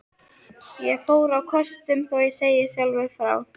Ég fór á kostum, þó ég segi sjálfur frá.